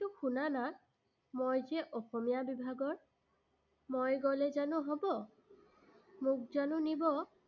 শুনানা। মই যে অসমীয়া বিভাগৰ। মই গ'লে জানো হ'ব, মোক জানো নিব?